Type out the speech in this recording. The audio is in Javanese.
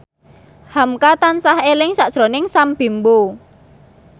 hamka tansah eling sakjroning Sam Bimbo